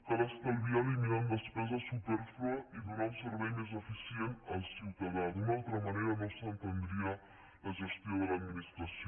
cal es·talviar eliminant despesa supèrflua i donar un servei més eficient al ciutadà d’una altra manera no s’en·tendria la gestió de l’administració